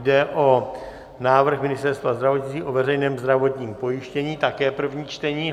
Jde o návrh Ministerstva zdravotnictví o veřejném zdravotním pojištění, také první čtení.